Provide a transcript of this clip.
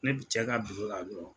Ne bi cɛ ka la dɔrɔn.